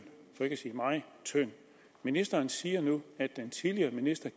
ministeren siger nu at den tidligere minister